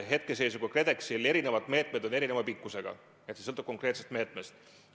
Hetkeseisuga on KredExil eri meetmed erineva pikkusega, see sõltub konkreetsest meetmest.